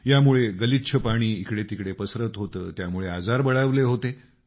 यामुळे गलिच्छ पाणी इकडेतिकडे पसरत होतं त्यामुळे आजार बळावले होते